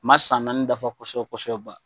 Ma san naani dafa kosɛbɛ kosɛbɛ ban